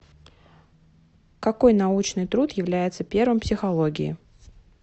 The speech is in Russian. какой научный труд является первым в психологии